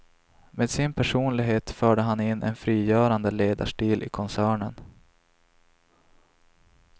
Med sin personlighet förde han in en frigörande ledarstil i koncernen.